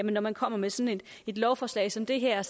når man kommer med sådan et lovforslag som det her